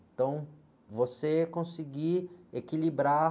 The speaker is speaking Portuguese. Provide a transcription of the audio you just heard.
Então, você conseguir equilibrar...